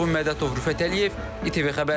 Vurğun Mədətov, Rüfət Əliyev, İTV Xəbər.